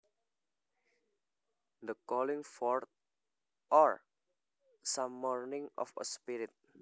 The calling forth or summoning of a spirit